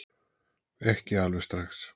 Ekki alveg strax.